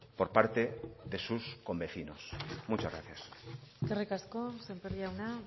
por parte de sus convecinos muchas gracias eskerrik asko sémper jauna